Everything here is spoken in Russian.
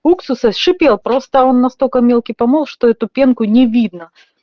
уксуса шипел просто он настолько мелкий помол что эту пенку не видно